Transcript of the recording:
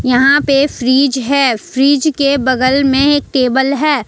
यहां पे फ्रिज है फ्रिज के बगल में एक टेबल है।